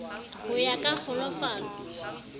ho ya ka ka kglofalo